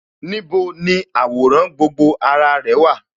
Níbo ni àwòrán gbogbo ara rẹ̀ wà?